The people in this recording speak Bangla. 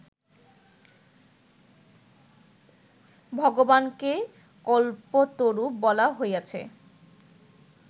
ভগবানকে কল্পতরু বলা হইয়াছে